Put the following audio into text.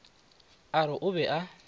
a re o be a